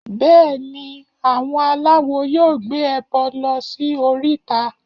Bẹ́ẹ̀ni, àwọn aláwo yóò gbé ẹbọ lọ sí oríta